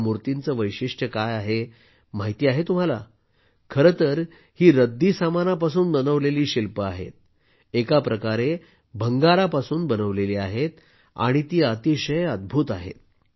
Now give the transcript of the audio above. या मूर्तींचे वैशिष्ट्य काय आहे माहीत आहे का खरं तर ही रद्दीसामानापासून बनवलेली शिल्पे आहेत एका प्रकारे भंगारापासून बनवलेली आहेत आणि ती अतिशय अद्भुत आहेत